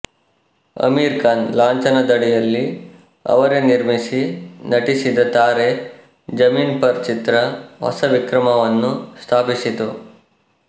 ಅಮೀರ್ ಖಾನ್ ಲಾಂಛನ ದಡಿಯಲ್ಲಿ ಅವರೇ ನಿರ್ಮಿಸಿ ನಟಿಸಿದ ತಾರೆ ಜಮೀನ್ ಪರ್ ಚಿತ್ರ ಹೊಸ ವಿಕ್ರಮವನ್ನು ಸ್ಥಾಪಿಸಿತು